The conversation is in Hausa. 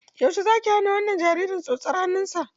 Yaushe zaki hana wannan jariri tsotsar hannunsa?